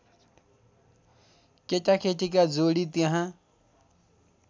केटाकेटीका जोडी त्यहाँ